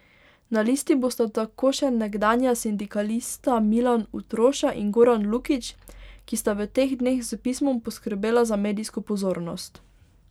Na listi bosta tako še nekdanja sindikalista Milan Utroša in Goran Lukić, ki sta v teh dneh s pismom poskrbela za medijsko pozornost.